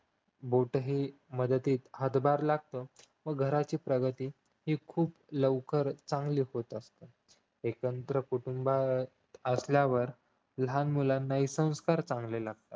मूठही मदतीत हातभार लागतो व घराची प्रगती खूप लवकर चांगली होत असते एकत्र कुटुंब असल्यावर लहान मुलांनाही संस्कार चांगले लागतात